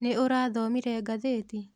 Nĩ ũrathomire ngathĩti?